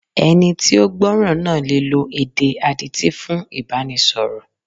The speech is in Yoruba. Ẹni tí ó gbọ́ràn náà le lo èdè adití fún Ìbánisọ̀rọ̀.